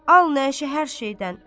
Al nəşə hər şeydən.